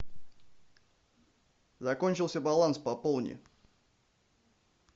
закончился баланс пополни